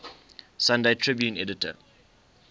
sunday tribune editor